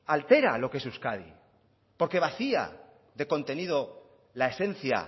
altera lo que es euskadi porque vacía de contenido la esencia